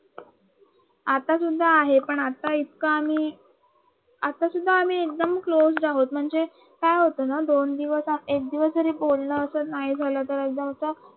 आता सुद्धा आहे पण आता इतका मी आता सुद्धा इतका मी क्लोज आहोत काय होतं ना दोन दिवस किंवा एक दिवस बोलणार नाही झालं तर एकदम असं